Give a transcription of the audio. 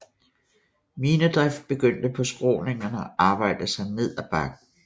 Minedrift begyndte på skråningerne og arbejdede sig ned ad bakken